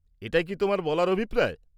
এটাই কী তোমার বলার অভিপ্রায়?